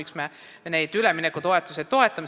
Miks me toetame üleminekutoetusi?